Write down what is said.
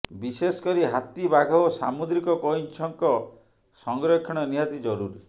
ବିଶେଷକରି ହାତୀ ବାଘ ଓ ସାମୁଦ୍ରିକ କଇଁଛଙ୍କ ସଂରକ୍ଷଣ ନିହାତି ଜରୁରୀ